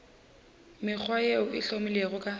mekgwa yeo e hlomilwego ka